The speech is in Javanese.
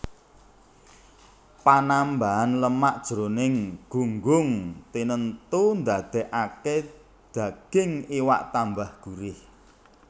Panambahan lemak jroning gunggung tinentu ndadèkaké daging iwak tambah gurih